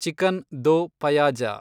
chicken do pyaza